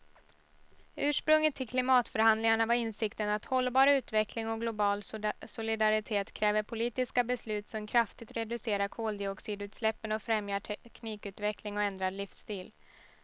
Ursprunget till klimatförhandlingarna var insikten att hållbar utveckling och global solidaritet kräver politiska beslut som kraftigt reducerar koldioxidutsläppen och främjar teknikutveckling och ändrad livsstil.